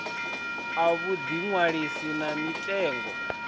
a vhuḓi ṅwalisi na mitengo